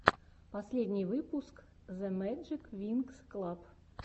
последний выпуск зэмэджиквинксклаб